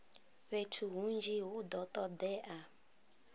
fhethu hunzhi hu do todea